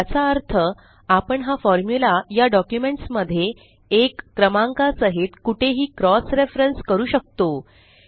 याचा अर्थ आपण हा फॉर्मुला या डॉक्युमेंट्स मध्ये 1 क्रमांका साहित कुठेही क्रॉस रेफरेन्स करू शकतो